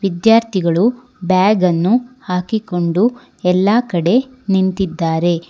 ವಿದ್ಯಾರ್ಥಿಗಳು ಬ್ಯಾಗನ್ನು ಹಾಕಿಕೊಂಡು ಎಲ್ಲಾ ಕಡೆ ನಿಂತಿದ್ದಾರೆ.